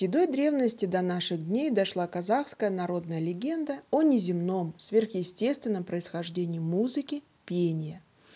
седой древности до наших дней дошла казахская народная легенда о неземном сверхъестественном происхождении музыки пения